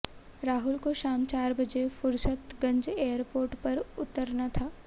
राहुल को शाम चार बजे फुरसतगंज एयरपोर्ट पर उतरना था